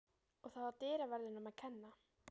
Og það var dyraverðinum að kenna.